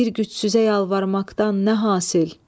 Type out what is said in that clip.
Bir gücsüzə yalvarmaqdan nə hasil?